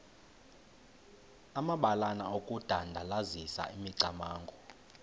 amabalana okudandalazisa imicamango